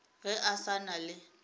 ge a sa na le